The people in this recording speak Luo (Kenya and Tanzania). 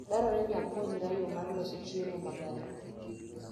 Dwarore ni apuonjra yo mar loso chiemo maber.